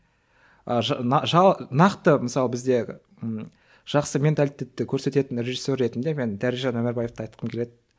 нақты мысалы бізде жақсы менталитетті көрсететін режиссер ретінде мен дәрежан өмірбаевты айтқым келеді